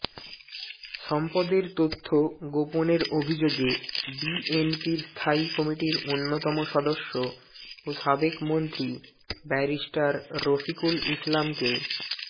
সম্পদের তথ্য পোপনের অভিযোগে বিএনপির স্থায়ী কমিটির অন্যতম সদস্য ও সাবেক মন্ত্রী ব্যারিস্টার রফিকুল ইসলামকে